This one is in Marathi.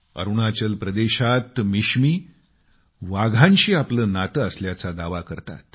अरुणाचल प्रदेशात मिशमी वाघांशी आपले नाते असल्याचा दावा करतात